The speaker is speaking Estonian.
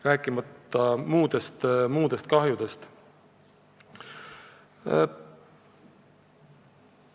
Muudest tagajärgedest ma ei räägigi.